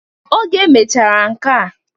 Oge emechara nkea